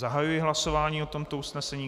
Zahajuji hlasování o tomto usnesení.